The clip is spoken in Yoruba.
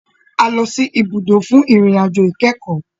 A lọ sì ibùdó fún ìrìn àjò ìkẹ́kọ̀.